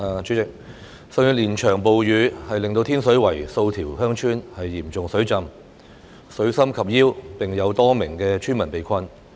主席，上月連場暴雨令天水圍數條鄉村嚴重水浸，水深及腰並有多名村民被困。